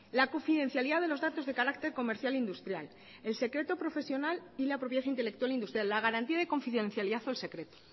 la confidencialidad de los datos de carácter comercial e industrial el secreto profesional y la propiedad intelectual industrial la garantía de confidencialidad o el secreto